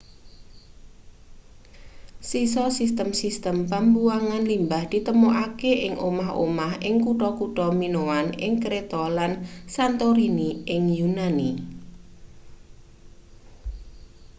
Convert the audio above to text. sisa sistem sistem pembuangan limbah ditemokake ing omah-omah ing kutha-kutha minoan ing kreta lan santorini ing yunani